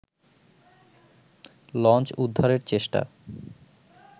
launch উদ্ধারের চেষ্টা